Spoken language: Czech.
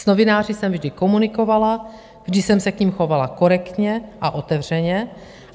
S novináři jsem vždy komunikovala, vždy jsem se k nim chovala korektně a otevřeně.